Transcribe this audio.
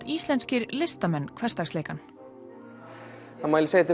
íslenskir listamenn hversdagsleikann það má segja að